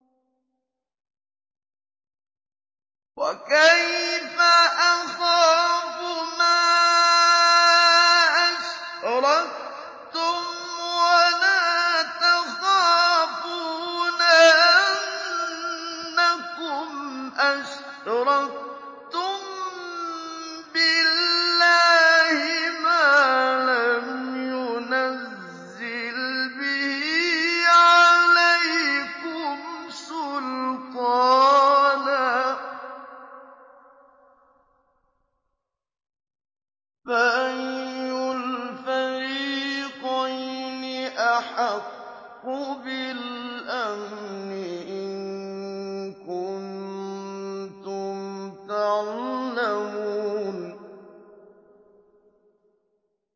وَكَيْفَ أَخَافُ مَا أَشْرَكْتُمْ وَلَا تَخَافُونَ أَنَّكُمْ أَشْرَكْتُم بِاللَّهِ مَا لَمْ يُنَزِّلْ بِهِ عَلَيْكُمْ سُلْطَانًا ۚ فَأَيُّ الْفَرِيقَيْنِ أَحَقُّ بِالْأَمْنِ ۖ إِن كُنتُمْ تَعْلَمُونَ